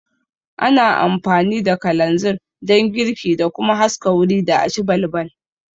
Ana amfani da kalanzir don girki da kuma haska wuri da aci balbal